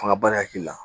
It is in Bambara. Fanga ba de la